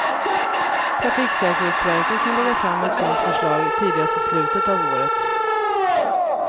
Trafiksäkerhetsverket kan lägga fram ett sådant förslag tidigast i slutet av året.